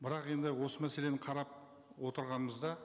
бірақ енді осы мәселені қарап отырғанымызда